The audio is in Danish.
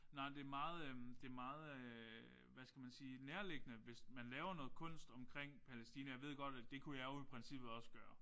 Nej men det er meget øh det er meget øh hvad skal man sige nærliggende hvis man laver noget kunst omkring Palæstina jeg ved godt at det kunne jeg jo i princippet også gøre